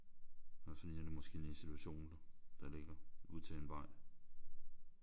Og så ligner det måske en institution der ligger ud til en vej